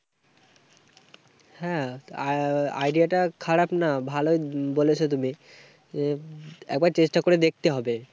হ্যাঁ, idea টা খারাপ না। ভালোই ব~বলেছো তুমি। একবার চেষ্টা করে দেখতে হবে।